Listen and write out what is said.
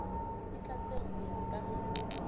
e tlatsetsang ho ya ka